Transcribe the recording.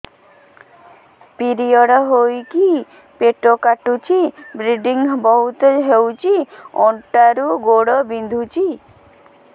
period ହୋଇକି ପେଟ କାଟୁଛି ବ୍ଲିଡ଼ିଙ୍ଗ ବହୁତ ହଉଚି ଅଣ୍ଟା ରୁ ଗୋଡ ବିନ୍ଧୁଛି